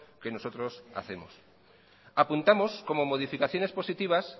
que nosotros hacemos apuntamos como modificaciones positivas